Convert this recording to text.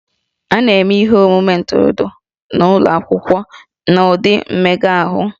A na-eme ihe omume ntụrụndụ n'ụlọ akwụkwọ n'ụdị mmega ahụ